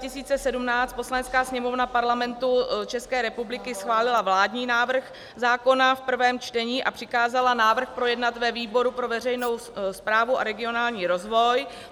Poslanecká sněmovna Parlamentu České republiky schválila vládní návrh zákona v prvém čtení a přikázala návrh projednat ve výboru pro veřejnou správu a regionální rozvoj.